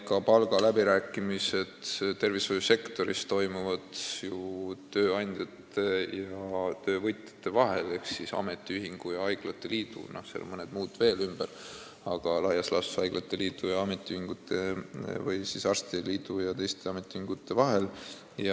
Ka palgaläbirääkimised tervishoiusektoris toimuvad ju tööandjate ja töövõtjate vahel ehk ametiühingute ja haiglate liidu, seal on mõned muud osalised veel, aga laias laastus haiglate liidu ja arstide liidu ja teiste ametiühingute vahel.